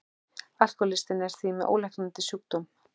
Alkohólistinn er því með ólæknandi sjúkdóm.